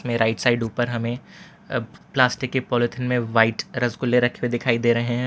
Right side ऊपर हमें plastic के पॉलिथीन में वाइट रसगुल्ले रखे दिखाई दे रहे हैं।